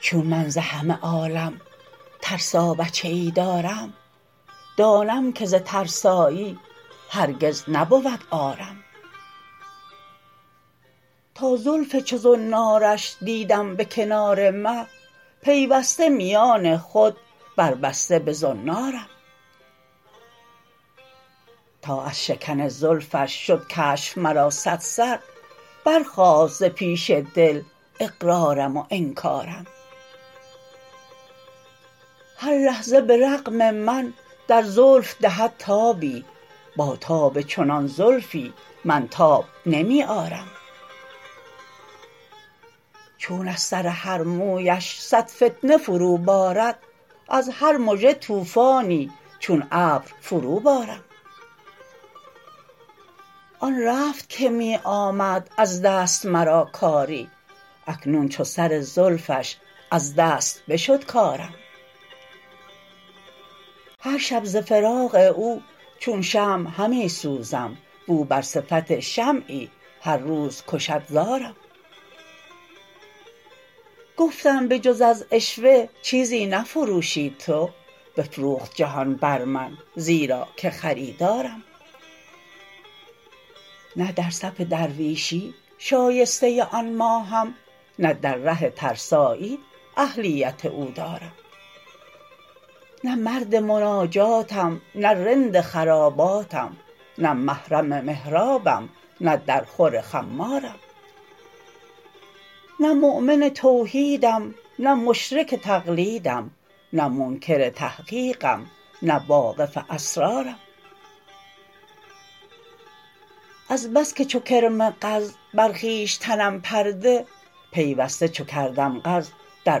چون من ز همه عالم ترسا بچه ای دارم دانم که ز ترسایی هرگز نبود عارم تا زلف چو زنارش دیدم به کنار مه پیوسته میان خود بربسته به زنارم تا از شکن زلفش شد کشف مرا صد سر برخاست ز پیش دل اقرارم و انکارم هر لحظه به رغم من در زلف دهد تابی با تاب چنان زلفی من تاب نمی آرم چون از سر هر مویش صد فتنه فرو بارد از هر مژه طوفانی چون ابر فروبارم آن رفت که می آمد از دست مرا کاری اکنون چو سر زلفش از دست بشد کارم هر شب ز فراق او چون شمع همی سوزم واو بر صفت شمعی هر روز کشد زارم گفتم به جز از عشوه چیزی نفروشی تو بفروخت جهان بر من زیرا که خریدارم نه در صف درویشی شایسته آن ماهم نه در ره ترسایی اهلیت او دارم نه مرد مناجاتم نه رند خراباتم نه محرم محرابم نه در خور خمارم نه مؤمن توحیدم نه مشرک تقلیدم نه منکر تحقیقم نه واقف اسرارم از بس که چو کرم قز بر خویش تنم پرده پیوسته چو کردم قز در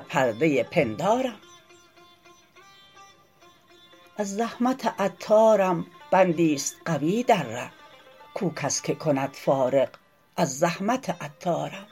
پرده پندارم از زحمت عطارم بندی است قوی در ره کو کس که کند فارغ از زحمت عطارم